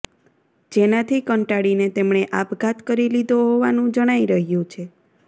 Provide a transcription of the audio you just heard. જેનાથી કંટાળીને તેમણે આપઘાત કરી લીધો હોવાનું જણાઇ રહ્યું છે